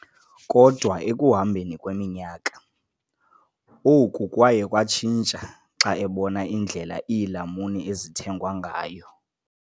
Kodwa ekuhambeni kweminyaka, oku kwaye kwatshintsha xa ebona indlela iilamuni ezithengwa ngayo.